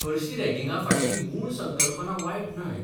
हरशीं रॅगिंगा फाटली मूळ संकल्पना बायट न्हय.